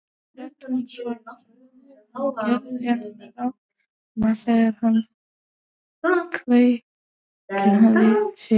Rödd hans var hrjúf og hann gerði hana ráma þegar hann kveinkaði sér.